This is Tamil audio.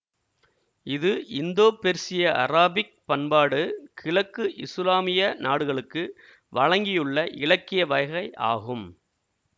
இது இந்தோபெர்சியஅராபிக் பண்பாடு கிழக்கு இசுலாமிய நாடுகளுக்கு வழங்கியுள்ள இலக்கிய வகை ஆகும்